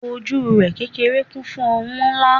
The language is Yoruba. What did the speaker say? ojú rẹ kékeré kún fún oun nla